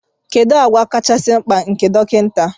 Kedu àgwà kachasị mkpa nke dọkịta